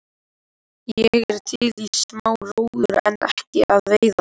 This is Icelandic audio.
Ég er til í smá róður en ekki að veiða.